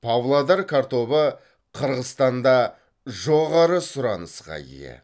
павлодар картобы қырғызстанда жоғары сұранысқа ие